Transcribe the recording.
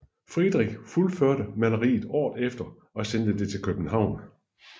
Friedrich fuldførte maleriet året efter og sendte det til København